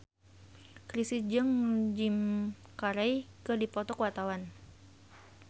Chrisye jeung Jim Carey keur dipoto ku wartawan